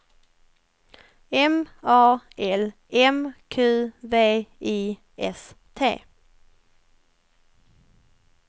M A L M Q V I S T